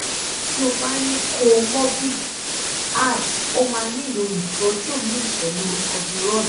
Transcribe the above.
ti o ba ni co-morbid adhd o ma nilo itoju mi pelu adderall